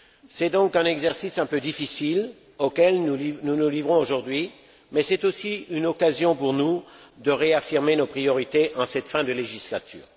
C'est donc un exercice un peu difficile auquel nous nous livrons aujourd'hui, mais c'est aussi une occasion pour nous de réaffirmer nos priorités en cette fin de législature.